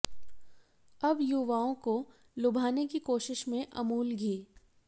अब युवाओं को लुभाने की कोशिश में है अमूल घी